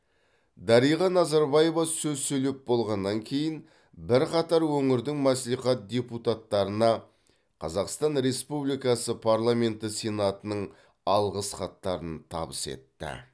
дариға назарбаева сөз сөйлеп болғаннан кейін бірқатар өңірдің мәслихат депутаттарына қазақстан республикасы парламенті сенатының алғыс хаттарын табыс етті